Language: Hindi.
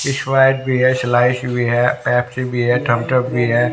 स्प्राइट भी है स्लाइस भी है पेप्सी भी है थम्ब्स उप भी है।